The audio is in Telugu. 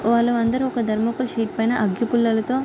వాళ్ళు అందరూ ఒక థర్మాకోల్ సీట్ పైన అగ్గిపుల్లలతో--